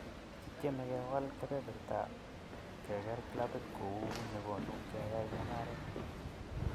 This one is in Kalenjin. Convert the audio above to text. Kitieme kewal kepeperta K keker klabit kou nekonu keyay mungaret.